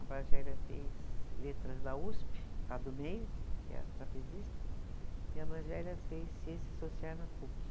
A mais velha fez letras da Usp, a do meio, que é a trapezista, e a mais velha fez ciência social na Puc.